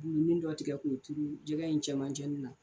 Buluni dɔ tigɛ k'o turu jɛgɛ in cɛmanin na.